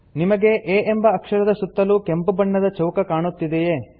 ನಿಮಗೆ a ಎಂಬ ಅಕ್ಷರದ ಸುತ್ತಲು ಕೆಂಪುಬಣ್ಣದ ಚೌಕ ಕಾಣುತ್ತಿದ್ದೆಯೇ